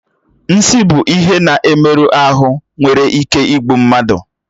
Nsi bụ ihe na-emerụ ahụ nwere ike igbu mmadụ